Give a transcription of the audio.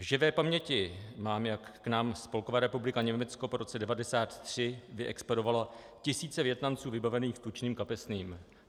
V živé paměti mám, jak k nám Spolková republika Německo po roce 1993 vyexpedovala tisíce Vietnamců vybavených tučným kapesným.